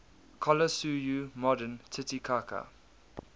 collasuyu modern titicaca